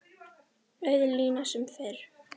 Auð lína sem fyrr.